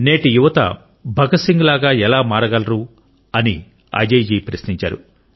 నేటి యువత భగత్ సింగ్ లాగా ఎలా మారగలరని అజయ్ జీ ప్రశ్నించారు